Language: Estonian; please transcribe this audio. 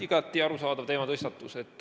Igati arusaadav teematõstatus.